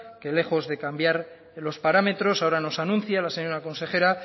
que lejos de cambiar en los parámetros ahora nos anuncia la señora consejera